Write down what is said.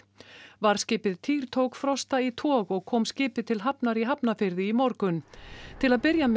varðskipið týr tók Frosta í tog og kom skipið til hafnar í Hafnarfirði í morgun til að byrja með